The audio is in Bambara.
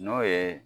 N'o ye